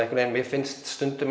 mér finnst stundum